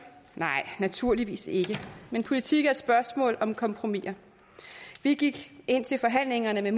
nej naturligvis ikke men politik er et spørgsmål om kompromiser vi gik ind til forhandlingerne med